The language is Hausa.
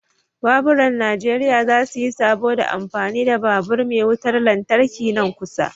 Baburan najeriya za su yi sabo da amfani da babur me wutar lantarki nan kusa.